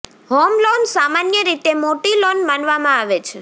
home loan સામાન્ય રીતે મોટી લોન માનવામાં આવે છે